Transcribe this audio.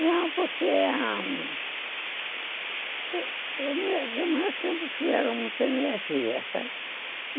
Não, porque... Minhas irmãs sempre tiveram muita energia, sabe?